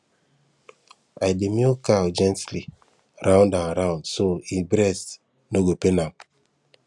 i dey milk cow gently round and round so e breast no go pain am